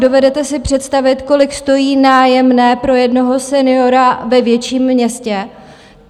Dovedete si představit, kolik stojí nájemné pro jednoho seniora ve větším městě?